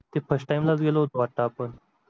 ते first time लाच गेलो होतो वाटत आपण